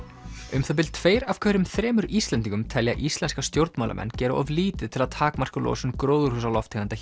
um það bil tveir af hverjum þremur Íslendingum telja íslenska stjórnmálamenn gera of lítið til að takmarka losun gróðurhúsalofttegunda